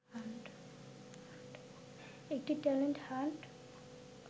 একটি talent hunt